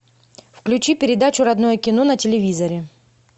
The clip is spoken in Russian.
включи передачу родное кино на телевизоре